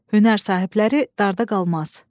Hünər sahibləri darda qalmaz.